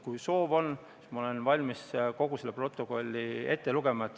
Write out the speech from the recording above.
Kui soov on, siis ma olen valmis kogu selle protokolli ette lugema.